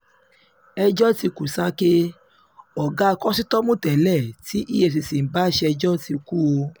ẹjọ́ ti kú sàkè ọ̀gá kòsítọ́ọ̀mù tẹ́lẹ̀ tí efcc ń bá ṣèjọ ti kú o